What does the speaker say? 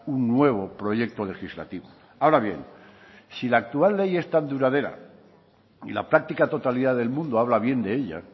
un nuevo proyecto legislativo ahora bien si la actual ley es tan duradera y la práctica totalidad del mundo habla bien de ella